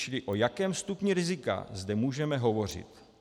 Čili o jakém stupni rizika zde můžeme hovořit?